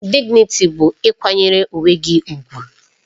Dịgnịtị bụ ịkwanyere onwe gị ùgwù